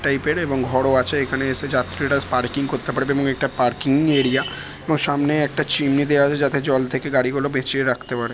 Type -এর এবং ঘরও আছে। এখানে এসে যাত্রীরা-স পার্কিং করতে পারবে এবং একটা পার্কিং এরিয়া এবং সামনে একটা চিমনি দেওয়া আছে যাতে জল থেকে গাড়ি গুলো বেঁচিয়ে রাখতে পারে।